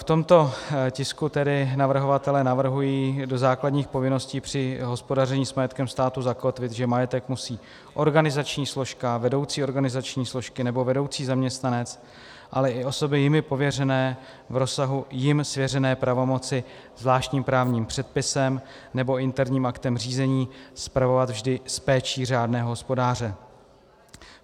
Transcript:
V tomto tisku tedy navrhovatelé navrhují do základních povinností při hospodaření s majetkem státu zakotvit, že majetek musí organizační složka, vedoucí organizační složky nebo vedoucí zaměstnanec, ale i osoby jimi pověřené v rozsahu jim svěřené pravomoci zvláštním právním předpisem nebo interním aktem řízení spravovat vždy s péčí řádného hospodáře.